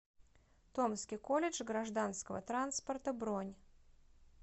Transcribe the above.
томский колледж гражданского транспорта бронь